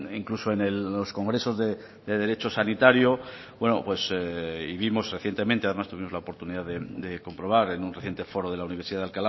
incluso en los congresos de derecho sanitario buenos y vimos recientemente tuvimos la oportunidad de comprobar en un reciente foro de la universidad de